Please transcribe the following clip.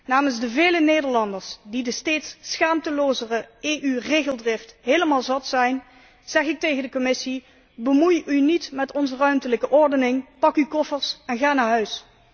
Namens de vele Nederlanders die de steeds schaamtelozere EU regeldrift helemaal zat zijn, zeg ik tegen de Commissie Bemoei u niet met onze ruimtelijke ordening, pak uw koffers en ga naar huis!